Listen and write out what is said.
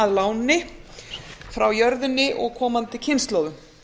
að láni frá jörðinni og komandi kynslóðum